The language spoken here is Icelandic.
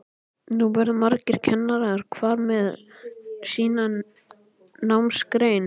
Nú verða margir kennarar, hver með sína námsgrein.